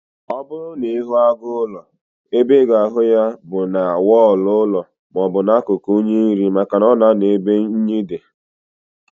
Ọbụrụ na ịhụ agụ ụlọ, ebe ịga ahụ ya bụ na wọlụ ụlọ maọbụ na akụkụ unyi nri, maka na ọ na anọ ebe unyi dị